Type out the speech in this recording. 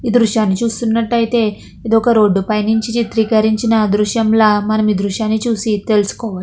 దృశ్యాన్ని చూస్తున్నటైతే ఇదొక రోడ్ పైనుంచి చిత్రీకరించిన దృశ్యంలా మనం దృశ్యాన్ని చూసి తెలుసుకో --